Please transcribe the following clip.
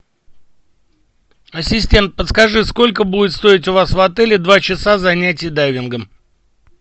ассистент подскажи сколько будет стоить у вас в отеле два часа занятий дайвингом